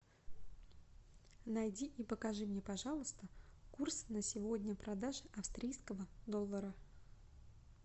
найди и покажи мне пожалуйста курс на сегодня продаж австрийского доллара